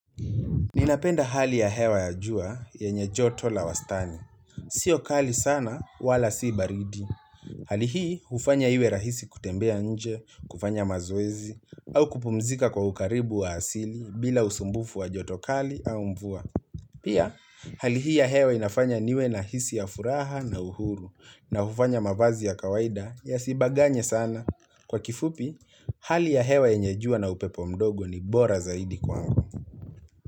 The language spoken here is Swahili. Ninapenda hali ya hewa ya jua, yenye joto la wastani. Sio kali sana, wala si baridi. Hali hii, ufanya iwe rahisi kutembea nje, kufanya mazoezi, au kupumzika kwa ukaribu wa asili, bila usumbufu wa joto kali au mvua. Pia, hali hii ya hewa inafanya niwe na hisi ya furaha na uhuru, na ufanya mavazi ya kawaida ya sibaganye sana. Kwa kifupi, hali ya hewa yenye jua na upepo mdogo ni bora zaidi kwangu.